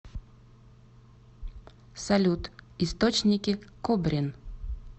салют источники кобрин